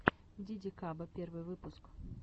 дидикаба первый выпуск